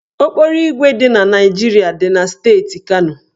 Okporoígwè dị na Naịjirịa dị na steeti Kano.